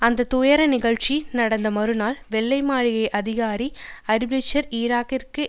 அந்த துயர நிகழ்ச்சி நடந்து மறுநாள் வெள்ளை மாளிகை அதிகாரி அரி பிளிட்சர் ஈராக்கிற்கு